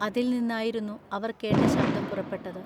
അതിൽനിന്നായിരുന്നു അവർ കേട്ട ശബ്ദം പുറപ്പെട്ടത്.